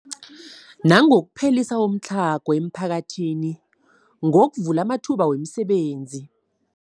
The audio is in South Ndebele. Nangokuphelisa umtlhago emiphakathini ngokuvula amathuba wemisebenzi.